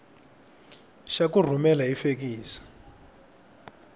xa ku rhumela hi fekisi